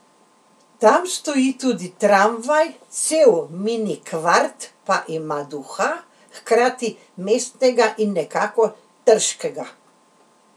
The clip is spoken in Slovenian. Tam stoji tudi tramvaj, cel mini kvart pa ima duha hkrati mestnega in nekako trškega.